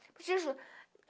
Para te